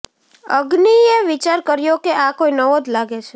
અગ્નિએ વિચાર કર્યો કે આ કોઈ નવો જ લાગે છે